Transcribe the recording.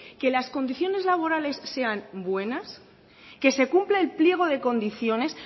que las condiciones laborales sean buenas que se cumpla el pliego de condiciones